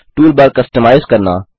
toolbar customize करना